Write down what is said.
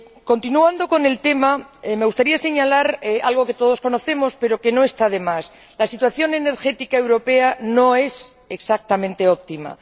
Continuando con el tema, me gustaría señalar algo que todos sabemos, pero que no está de más la situación energética europea no es exactamente óptima.